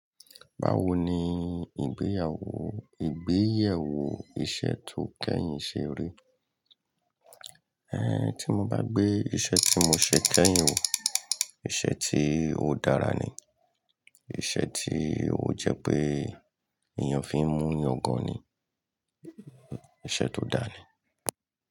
Báwo ni ìgbéyàwó, ìgbéyèwò iṣẹ́ tó kẹ́yìn ṣe rí? Ẹ, tí mo bá gbé iṣẹ́ tí mo ṣe kẹ́yìn wò, iṣẹ́ tí ó dára ni. Iṣẹ́ tí ó jẹ́ pé èèyàn fi ń mú yàngan ni, iṣẹ́ tó dáa ni.